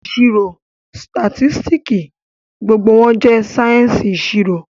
Ìṣirò, sitasitiki, gbogbo wọn jẹ sáyẹ́ǹsì ìṣirò